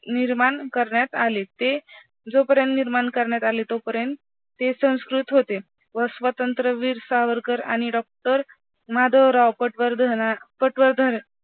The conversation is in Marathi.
निर्माण करण्यात आले ते जोपर्यंत निर्माण करण्यात आले तोपर्यंत ते संस्कृत होते व स्वातंत्र्यवीर सावरकर आणि doctor माधवराव पटवर्धना पटवर्धन